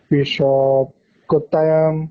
Rishav, কুত্তায়ান